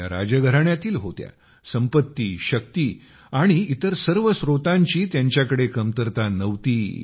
त्या राजघराण्यातील होत्या संपत्ती शक्ती आणि इतर सर्व स्रोतांची त्यांच्याकडे कमतरता नव्हती